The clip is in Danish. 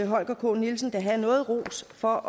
holger k nielsen da have noget ros for